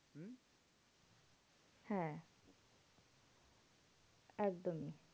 হ্যাঁ একদমই।